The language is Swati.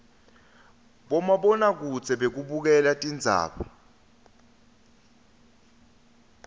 bomabonakudze bekubukela tindzaba